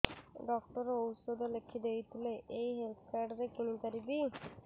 doctor ଔଷଧ ଲେଖିଦେଇଥିଲେ ଏଇ ହେଲ୍ଥ କାର୍ଡ ରେ କିଣିପାରିବି